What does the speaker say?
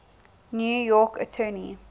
new york attorney